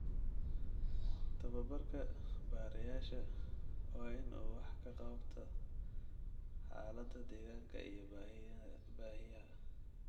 Tababarka barayaasha waa in uu wax ka qabtaa xaaladda deegaanka iyo baahiyaha.